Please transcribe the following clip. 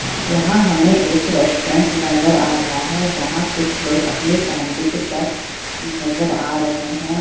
यहाँ हमें एक रेस्टोरेंट नजर आ रहा है जहाँ कुछ लोग अपने फैमिली के साथ नजर आ रहे हैं।